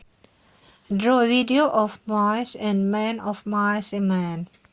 джой видео оф майс энд мэн оф майс и мэн